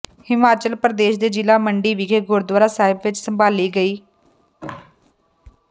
ਹਿਮਾਚਲ ਪ੍ਰਦੇਸ਼ ਦੇ ਜ਼ਿਲ੍ਹਾ ਮੰਡੀ ਵਿੱਖੇ ਗੁਰਦੁਆਰਾ ਸਾਹਿਬ ਵਿੱਚ ਸੰਭਾਲੀ ਗਈ